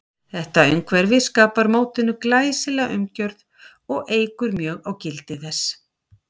Þetta umhverfi skapar mótinu glæsilega umgjörð og eykur mjög á gildi þess.